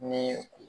Ni